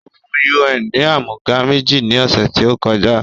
Ó fún UN ni àmúga méjì ni ọ̀sẹ̀ tí ó kọjá